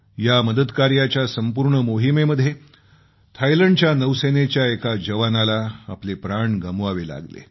या मदतकार्याच्या संपूर्ण मोहिमेमध्ये थायलंडच्या नौसेनेच्या एका जवानाला आपले प्राण गमवावे लागले